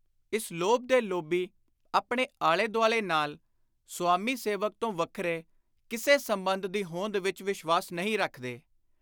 ਇਸ ਲੋਭ ਦੇ ਲੋਭੀ ਆਪਣੇ ਆਲੇ-ਦੁਆਲੇ ਨਾਲ ਸੁਆਮੀ-ਸੇਵਕ ਤੋਂ ਵੱਖਰੇ ਕਿਸੇ ਸੰਬੰਧ ਦੀ ਹੋਂਦ ਵਿਚ ਵਿਸ਼ਵਾਸ ਨਹੀਂ ਰੱਖਦੇ।